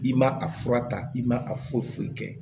I ma a fura ta i ma a foyi foyi kɛ